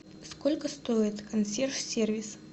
сколько стоит консьерж сервис